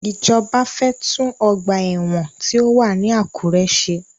Ìjọba fẹ́ tún ọgbà ẹ̀wọ̀n tí ó wà ní Àkúré ṣe.